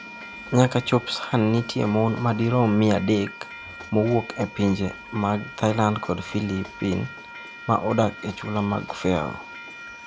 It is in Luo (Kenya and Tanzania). Nyaka chop sani nitie mon madirom 300 mowuok e pinje mag Thailand kod Filipin ma odak e chula mag Faroe.